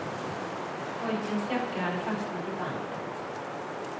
Pojkens jacka hade fastnat i bandet.